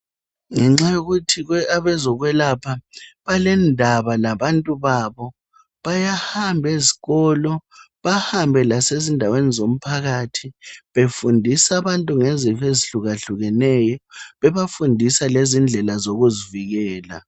Ngenxa yokuthi abezokwelapha balendaba labantu babo, bayahamba ezikolo, bahambe lasezindaweni zomphakathi befundis' abantu ngezifo ezihlukahlukeneyo, bebafundisa lendlela zokuzivikela.